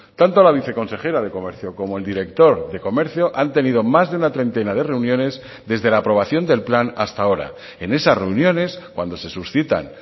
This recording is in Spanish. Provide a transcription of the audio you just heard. tanto a la viceconsejera de comercio como el director de comercio han tenido más de una treintena de reuniones desde la aprobación del plan hasta ahora en esas reuniones cuando se suscitan